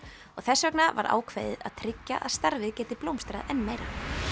og þess vegna var ákveðið að tryggja að starfið geti blómstrað enn meira